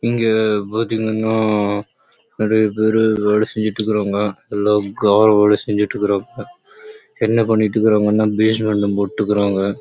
இங்க பாத்தீங்கன்னா எல்லாரும் வேல செஞ்சிட்டு இருகாங்க கார் லே வேல செஞ்சிட்டு இருகாங்க பைசெக்மென்ட் லே